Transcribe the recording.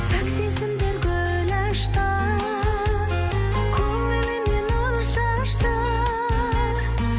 пәк сезімдер гүл ашты көңіліме нұр шашты